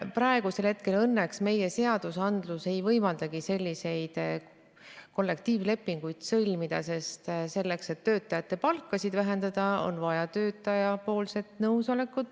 Praegu õnneks meie seadusandlus ei võimaldagi selliseid kollektiivlepinguid sõlmida, sest selleks, et töötajate palka vähendada, on vaja töötaja nõusolekut.